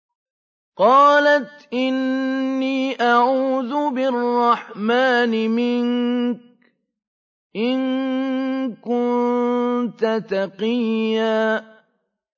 قَالَتْ إِنِّي أَعُوذُ بِالرَّحْمَٰنِ مِنكَ إِن كُنتَ تَقِيًّا